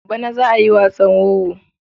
Bana za a yi wasan wowo.